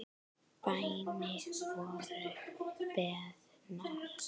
Bænir voru beðnar.